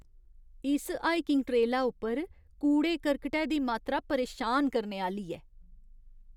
इस हाइकिंग ट्रेला उप्पर कूड़े करकटै दी मात्तरा परेशान करने आह्‌ली ऐ।